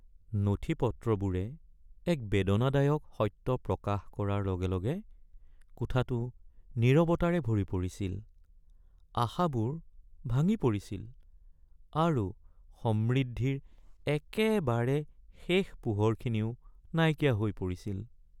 নথিপত্ৰবোৰে এক বেদনাদায়ক সত্য প্ৰকাশ কৰাৰ লগে লগে কোঠাটো নীৰৱতাৰে ভৰি পৰিছিল, আশাবোৰ ভাঙি পৰিছিল আৰু সমৃদ্ধিৰ একেবাৰে শেষ পোহৰখিনিও নাইকিয়া হৈ পৰিছিল।